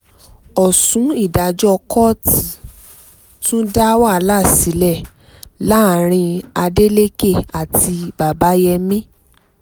ọ̀ṣùn ìdájọ́ kóòtù tún dá wàhálà sílẹ̀ láàrin adeleke àti babayémi